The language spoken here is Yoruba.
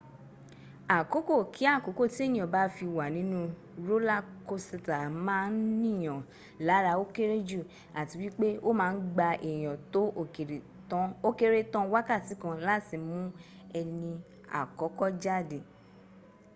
àkókò kí àkókò tí ènìyàn bá fi wà nínú rólá kosìtà má a nìyàn lára ó kéré jù àti wípé ó ma ń gba èèyàn tó ókéré tán wákàtí kan láti mún ẹni àkọ́kọ́ jáde